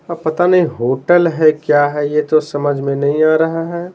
अब पता नहीं होटल है क्या है ये तो समझ में नहीं आ रहा है।